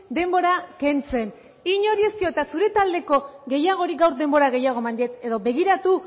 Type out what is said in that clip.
denbora kentzen inori ez diot eta zure taldeko gehiagori gaur denbora gehiago eman diet edo begiratu